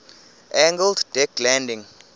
angled deck landing